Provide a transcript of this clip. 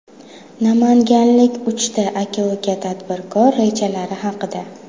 Namanganlik uch aka-uka tadbirkor rejalari haqida.